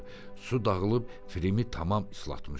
Su dağılıb Frimi tamam islatmışdı.